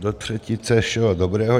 Do třetice všeho dobrého.